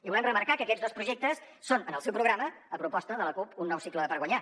volem remarcar que aquests dos projectes són en el seu programa a proposta de la cup un nou cicle per guanyar